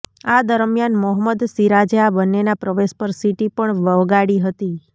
આ દરમિયાન મોહમ્મદ સિરાજે આ બંનેના પ્રવેશ પર સીટી પણ વગાડી હતી